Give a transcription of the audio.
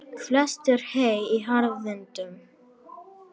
Flest er hey í harðindum.